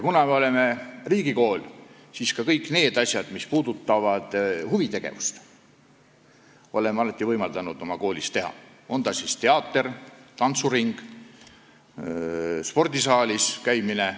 Kuna me oleme riigikool, siis ka kõike seda, mis puudutab huvitegevust, oleme alati võimaldanud oma koolis teha, on see siis teater, tantsuring või spordisaalis käimine.